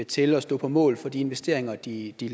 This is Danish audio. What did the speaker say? til at stå på mål for de investeringer de de